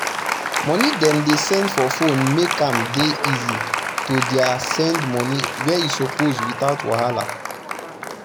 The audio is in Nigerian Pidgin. money dem they send for phone make am dey easy to their send money where e suppose without wahala